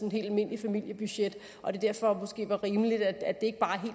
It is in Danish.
et helt almindeligt familiebudget og at det derfor måske vil være rimeligt at det ikke bare er